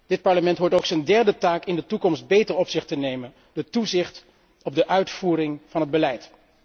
Dit Parlement hoort ook zijn derde taak in de toekomst beter op zich te nemen het toezicht op de uitvoering van het beleid.